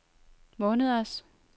måneders